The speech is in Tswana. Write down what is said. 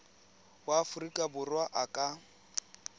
wa aforika borwa a ka